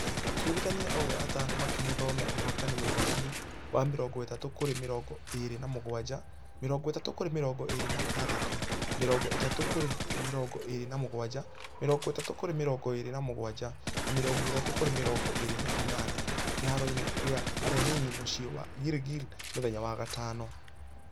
Atuĩrithania othe atano makĩhe thome ũhotani mũigananu wa mĩrongo ĩtatũ kũrĩ mĩrongo ĩrĩ na mũgwaja , mĩrongo ĩtatũ kũrĩ mĩrongo ĩrĩ na ithathatũ, mĩrongo ĩtatũ kũrĩ mĩrongo ĩrĩ na mũgwaja. Mĩrongo ĩtatũ kũrĩ mĩrongo ĩrĩ na mũgwaja na mĩrongo ĩtatũ kũrĩ mĩrongo ĩrĩ na inana kĩharo gĩa lenina mũciĩ wa girigiri mũthenya wa gatano.